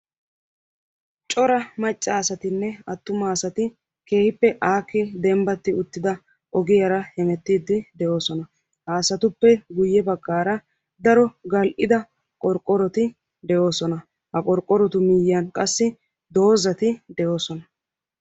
Cora macca asatine attuma asati keehippe dembbati uttida aaho ogiyaara jemerrids de'oosona. Ha asatuppe guyye baggaara daro gal"ida qorqqoroti de'oosona. Ha qorqqorotu miyyiyan qassi doozati de'oosona